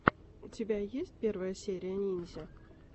у тебя есть первая серия ниндзя